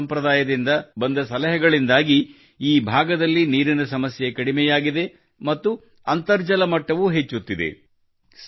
ಹಲ್ಮಾ ಸಂಪ್ರದಾಯದಿಂದ ಬಂದ ಸಲಹೆಗಳಿಂದಾಗಿ ಈ ಭಾಗದಲ್ಲಿ ನೀರಿನ ಸಮಸ್ಯೆ ಕಡಿಮೆಯಾಗಿದೆ ಮತ್ತು ಅಂತರ್ಜಲ ಮಟ್ಟವೂ ಹೆಚ್ಚುತ್ತಿದೆ